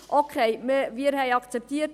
Okay, wir haben es akzeptiert: